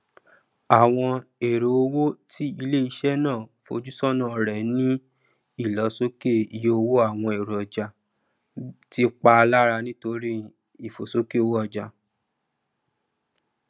àwọn èrèowó ti iléiṣẹ náà fojúsọnà rẹ ní ìlọsókè iye owó àwọn èròjà tí pá lára nítorí ìfòsókè owóọjà